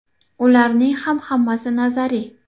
Ularning ham hammasi nazariy.